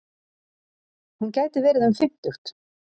Hún gæti verið um fimmtugt.